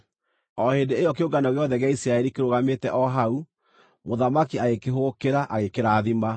O hĩndĩ ĩyo kĩũngano gĩothe gĩa Isiraeli kĩrũgamĩte o hau, mũthamaki agĩkĩhũgũkĩra, agĩkĩrathima.